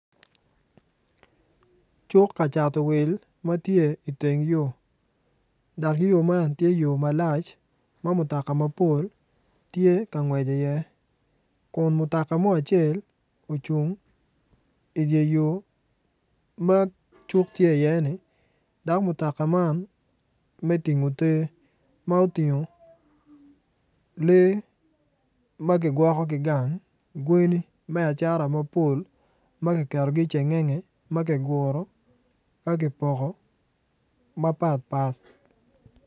Cuk ka cato wil ma tye iteng yo dok yo man tye yo malac ma mutoka mapol tye ka ngwec iye kun mutoka mo acel ocung idye yo ma cuk tye iyeni dok mutoka man me tingo te ma otingo lee ma gigwokogi gang gweni me acata mapol ma kiketogi i cengenge ma kiguro ka kipoko mapat pat.